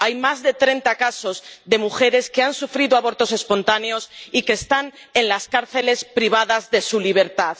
Hay más de treinta casos de mujeres que han sufrido abortos espontáneos y que están en las cárceles privadas de su libertad.